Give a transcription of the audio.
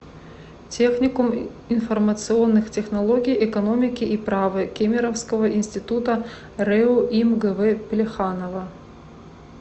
техникум информационных технологий экономики и права кемеровского института рэу им гв плеханова